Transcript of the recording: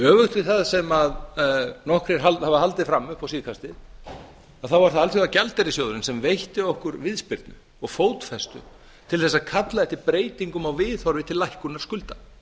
öfugt við það sem nokkrir hafa haldið fram upp á síðkastið þá er það alþjóðagjaldeyrissjóðurinn sem veitti okkur viðspyrnu og fótfestu til að kalla eftir breytingum á viðhorf til lækkunar skulda